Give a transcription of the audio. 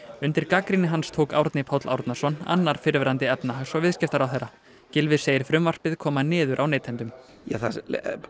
undir gagnrýni hans tók Árni Páll Árnason annar fyrrverandi efnahags og viðskiptaráðherra Gylfi segir frumvarpið koma niður á neytendum það